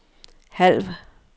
halv